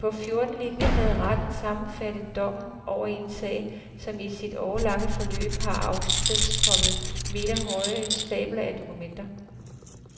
På fjorten linjer havde retten sammenfattet dommen over en sag, som i sit årelange forløb har afstedkommet meterhøje stabler af dokumenter.